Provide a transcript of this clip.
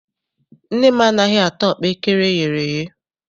Nne m anaghị ata ọkpaekere eyere eye.